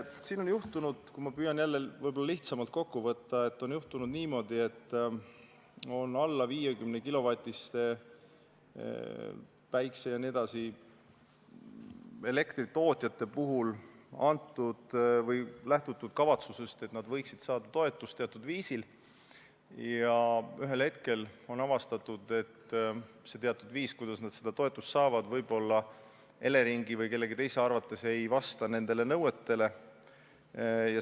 Siin on juhtunud – kui ma püüan asja jälle lihtsamalt kokku võtta – niimoodi, et alla 50 kW päikeseenergia jt elektritootjate puhul on lähtutud kavatsusest, et nad võiksid saada toetust teatud viisil, ja ühel hetkel on avastatud, et viis, kuidas nad seda toetust saavad, ei pruugi Eleringi või mõne teise arvates vastata nõuetele.